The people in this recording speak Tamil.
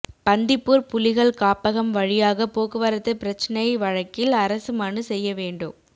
பந்திப்பூர் புலிகள் காப்பகம் வழியாக போக்குவரத்து பிரச்னை வழக்கில் அரசு மனு செய்ய வேண்டும்